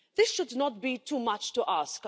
This should not be too much to ask.